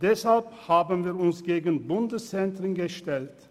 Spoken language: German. Deshalb haben wir uns gegen Bundeszentren gestellt.